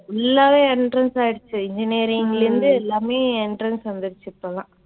full ஆவே entrance ஆயிடுச்சு. engineering ல இருந்து எல்லாமே entrance வந்திடுச்சு இப்பெல்லாம்.